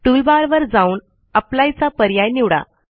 टूलबारवर जाऊन अप्लाय चा पर्याय निवडा